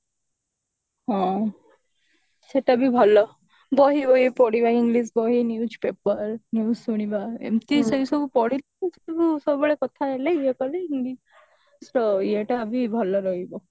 ହଁ ସେଟା ବି ଭଲ ବହି ବହି ପଢିବା english ବହି newspaper news ଶୁଣିବା ଏମିତି ସେ ସବୁ ପଢିଲେ ସବୁବେଳେ କଥା ହେଲେ ଇଏ କଲେ english ର ଇଏ ଟା ବି ଭଲ ରହିବ